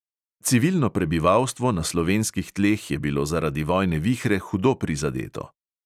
Civilno prebivalstvo na slovenskih tleh je bilo zaradi vojne vihre hudo prizadeto.